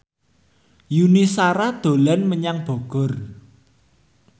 Yuni Shara dolan menyang Bogor